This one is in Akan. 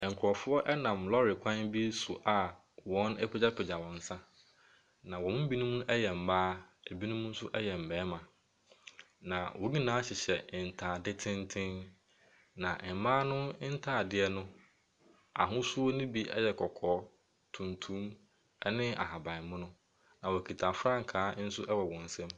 Nkurɔfoɔ nam lɔre kwan bi so a wɔapagyapagya wɔn nsa, na wɔn mu binom yɛ mmaa, ebinom nso yɛ mmarima, na wɔn nyinaa hyehyɛ ntade tenten, na mmaa no ntadeɛ no, ahosuo no bi yɛ kɔkɔɔ, tuntum, ne ahaban mono, na wɔkita frankaa wɔ wɔn nsam.